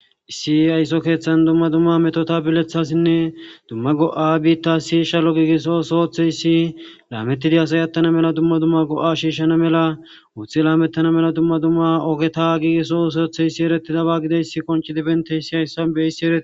issi aysso keeththan dumma dumma metota bilethasinne dumma go7a biitta si shalo giigisso soothe yissi laamettidi asayattana mela dumma dumma go7a shiishshana mela wuuththi laamettana mela dumma dumma ogeta giigisso soothe issi eretidaba gideys konchi dibente issi hayssan beissi erei